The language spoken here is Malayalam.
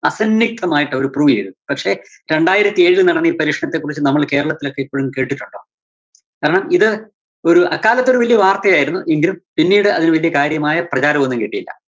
അസന്നിക്തമായിട്ടവര് prove ചെയ്തു. പക്ഷേ രണ്ടായിരത്തി എഴില്‍ നടന്ന ഈ പരീക്ഷണത്തിനെ കുറിച്ച് നമ്മള് കേരളത്തിലെക്കിപ്പഴും കേട്ടിട്ടുണ്ടോ? കാരണം ഇത് ഒരു അക്കാലത്ത് ഒരു വല്യ വാര്‍ത്തയായിരുന്നു. എങ്കിലും പിന്നീട് അതിന് വല്യ കാര്യമായ പ്രചാരം ഒന്നും കിട്ടീല്ല.